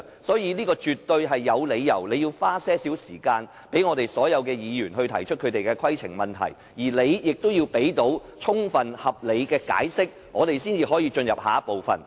所以，主席，你絕對有理由花一點時間讓所有議員提出規程問題，而你也要提供充分合理的解釋，我們才能進入下一個項目。